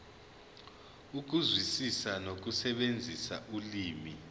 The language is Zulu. ukuzwisisa nokusebenzisa ulimi